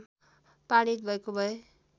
पारित भएको भए